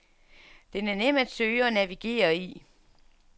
Den er nem at søge og navigere i.